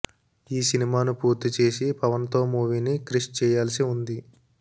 ఈ సినిమాను పూర్తి చేసి పవన్ తో మూవీని క్రిష్ చేయాల్సి ఉంది